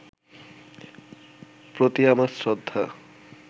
প্রতি আমার শ্রদ্ধা